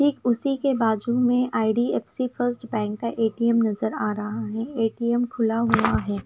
ठीक उसी के बाजू में आई_डी_एफ_सी फर्स्ट बैंक का ए_टी_एम नजर आ रहा हैए_टी_एम खुला हुआ है।